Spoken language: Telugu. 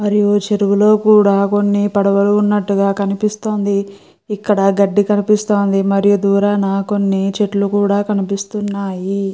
మరియు చెరువులో కూడా కొన్ని పడవలు ఉన్నట్టుగా కనిపిస్తుంది ఇక్కడ గడ్డి కనిపిస్తుంది మరియు దూరాన కొన్ని చెట్లు కూడా కనిపిస్తున్నాయి.